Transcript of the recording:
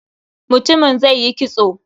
Mutumin zai yi kitso.